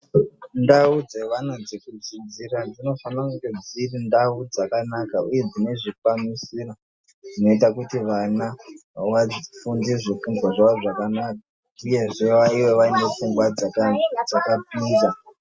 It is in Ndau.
Ndau dzevana dzekudzidzira dzinofanira kunge dziri ndau dzakanaka uye dzinezvikwanisiro zvinoita kuti vana vafunde zvifundwa zvavo zvakanaka uyezve vave vaine pfungwa dzakapinza.